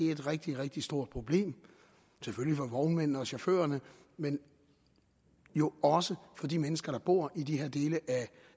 er et rigtig rigtig stort problem for vognmændene og chaufførerne men jo også for de mennesker der bor i de her dele af